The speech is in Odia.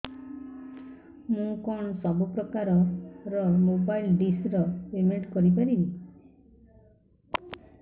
ମୁ କଣ ସବୁ ପ୍ରକାର ର ମୋବାଇଲ୍ ଡିସ୍ ର ପେମେଣ୍ଟ କରି ପାରିବି